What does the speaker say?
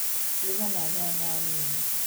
Ruga na nyanya nini